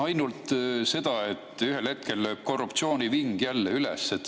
Ainult seda, et ühel hetkel tõuseb korruptsiooniving jälle üles.